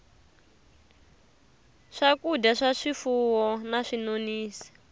swakudya swa swifuwo na swinonisi